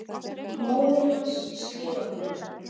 Móðir hans skrifar honum